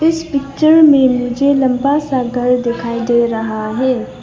इस पिक्चर में मुझे लंबा सा घर दिखाई दे रहा है।